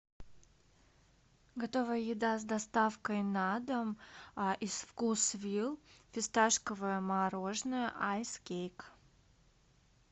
готовая еда с доставкой на дом из вкусвилл фисташковое мороженое айс кейк